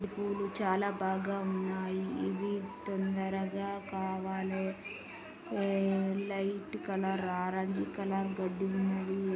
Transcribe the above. పువ్వులు చాలా బాగున్నాయి ఇవి తొందర గా కావాలే లైట్ కలర్ ఆరెంజ్ కలర్ గడ్డిలు ఉన్నాయి.